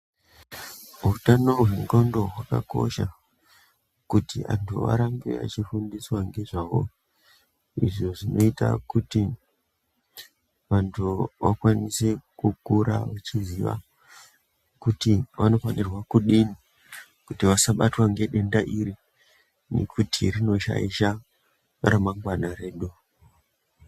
Utano hwendxondo hwakakosha, kuti antu arambe achifundiswa ngezvahwo, izvo zvinoita kuti ,vanhu vakwanise kukura vechiziya kuti vanofanirwa kudini, kuti vasabatwa ngedenda, iri nekuti rinoshaisha remangwana redu.